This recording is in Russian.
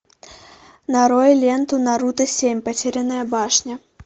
нарой ленту наруто семь потерянная башня